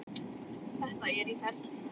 Þetta er í ferli.